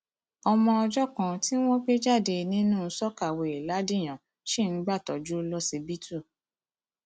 ọmọ ọjọ kan tí wọn gbé jáde nínú sọkàwéè ladìyàn ṣì ń gbàtọjú lọsibítù